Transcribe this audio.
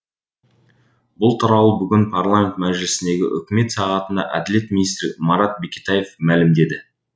бұл туралы бүгін парламент мәжілісіндегі үкімет сағатында әділет министрі марат бекетаев мәлімдеді